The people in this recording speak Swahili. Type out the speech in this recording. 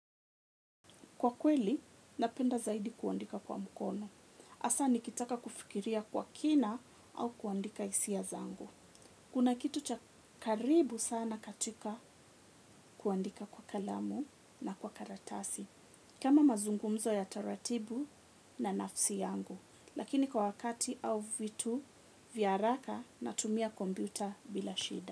Kwa kweli, napenda zaidi kuandika kwa mkono. Hasa nikitaka kufikiria kwa kina au kuandika hisia zangu. Kuna kitu cha karibu sana katika kuandika kwa kalamu na kwa karatasi. Kama mazungumzo ya taratibu na nafsi yangu. Lakini kwa wakati au vitu vya haraka natumia kompyuta bila shida.